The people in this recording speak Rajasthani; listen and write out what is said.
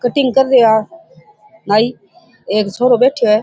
कटिंग कर रा है नाइ एक छोरा बैठया है।